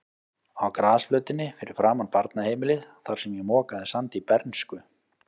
Á grasflötinni fyrir framan barnaheimilið, þar sem ég mokaði sandi í bernsku.